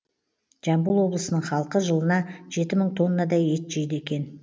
жамбыл облысының халқы жылына жеті мың тоннадай ет жейді екен